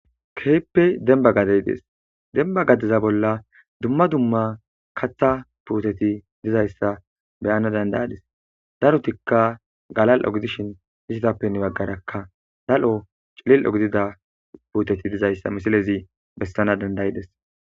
keehippe demba gaddey dees demba gaddeza bolla dumma dumma katha puuteti dizayssa beyana dandayadis darotikka galal7ogidishin hisitappenn baggarakka dal7o cilil ogidida puuteti dizayssa misilezi bessana dandayides